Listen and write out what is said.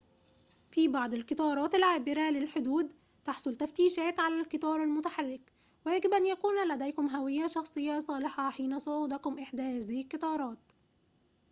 في بعض القطارات العابرة للحدود تحصل تفتيشات على القطار المتحرك ويجب أن يكون لديكم هوية شخصية صالحة حين صعودكم إحدى هذه القطارات